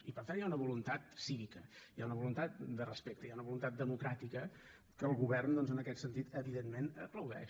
i per tant hi ha una voluntat cívica hi ha una voluntat de respecte hi ha una voluntat democràtica que el govern doncs en aquest sentit evidentment aplaudeix